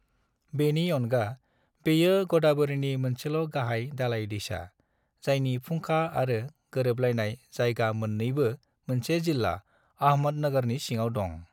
बेनि अनगा, बेयो ग'दावरीनि मोनसेल' गाहाय दालाय दैसा, जायनि फुंखा आरो गोरोबलायनाय जायगा मोन्नेबो मोनसे जिल्ला - आहमदनगरनि सिङाव दं।